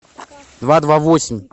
два два восемь